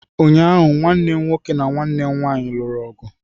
Ụnyaahụ, nwanne m nwoke na nwanne m nwanyị lụrụ ọgụ